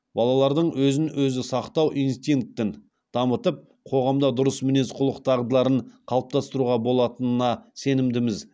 балалардың өзін өзі сақтау инстинктін дамытып қоғамда дұрыс мінез құлық дағдыларын қалыптастыруға болатынына сенімдіміз